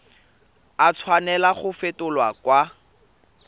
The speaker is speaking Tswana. a tshwanela go fetolwa kwa